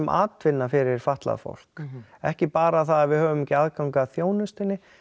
atvinna fyrir fatlað fólk ekki bara það að við höfum ekki aðgang að þjónustunni